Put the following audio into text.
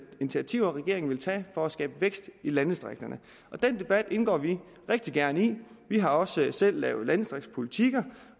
initiativer regeringen vil tage for at skabe vækst i landdistrikterne den debat indgår vi rigtig gerne i vi har også selv lavet landdistriktspolitikker